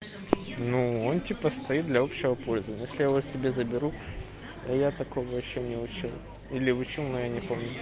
ну он типа стоит для общего пользования а если я его себе заберу а я такого ещё не учил или учил но я не помню